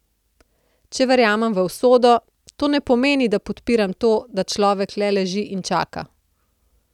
Če verjamem v usodo, to ne pomeni, da podpiram to, da človek le leži in čaka.